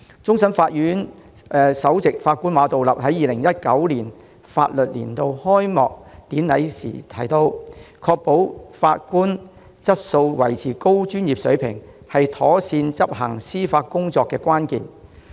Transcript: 終審法院首席法官馬道立在2019年法律年度開幕典禮上提到，確保法官質素及維持高專業水平，是妥善執行司法工作的關鍵。